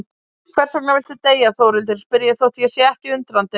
Hversvegna viltu deyja Þórhildur, spyr ég þótt ég sé ekki undrandi.